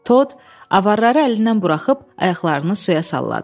Tod avarları əlindən buraxıb ayaqlarını suya salladı.